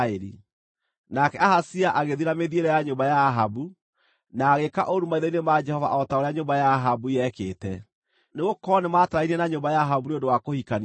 Nake Ahazia agĩthiĩ na mĩthiĩre ya nyũmba ya Ahabu, na agĩĩka ũũru maitho-inĩ ma Jehova o ta ũrĩa nyũmba ya Ahabu yekĩte, nĩgũkorwo nĩmatarainie na nyũmba ya Ahabu nĩ ũndũ wa kũhikania kuo.